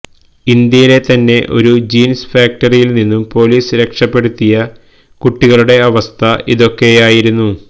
ഇന്ത്യയിലെ തന്നെ ഒരു ജീന്സ് ഫാക്ടറിയില് നിന്നും പോലീസ് രക്ഷപെടുത്തിയ കുട്ടികളുടെ അവസ്ഥ ഇതൊക്കെയായിരുന്നു